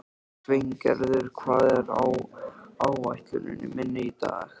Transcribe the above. Sveingerður, hvað er á áætluninni minni í dag?